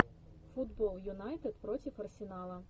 футбол юнайтед против арсенала